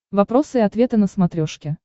вопросы и ответы на смотрешке